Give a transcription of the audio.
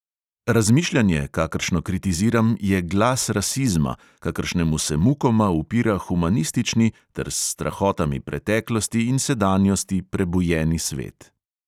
Razmišljanje, kakršno kritiziram, je glas rasizma, kakršnemu se mukoma upira humanistični ter s strahotami preteklosti in sedanjosti prebujeni svet.